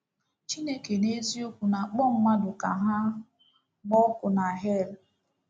Chineke n’eziokwu na-akpọ mmadụ ka ha gbaa ọkụ n’hel?